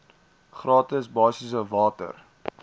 gratis basiese water